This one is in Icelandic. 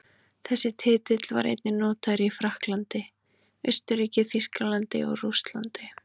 Þessi titill var einnig notaður í Frakklandi, Austurríki, Þýskalandi og Rússlandi.